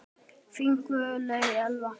Þín Guðlaug Elfa.